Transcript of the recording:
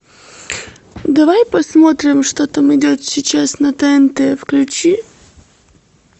давай посмотрим что там идет сейчас на тнт включи